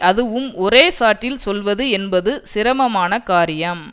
அதுவும் ஒரே ஷாட்டில் சொல்வது என்பது சிரமமான காரியம்